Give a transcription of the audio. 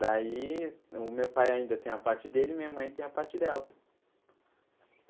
Daí, o meu pai ainda tem a parte dele e minha mãe tem a parte dela.